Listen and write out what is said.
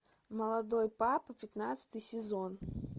молодой папа пятнадцатый сезон